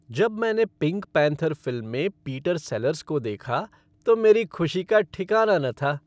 जब मैंने Pink Panther film में पीटर सेलर्स को देखा तो मेरी खुशी का ठिकाना न था।